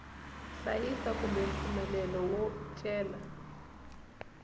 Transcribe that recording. hlayisa kumbe mpfumelelo wo cela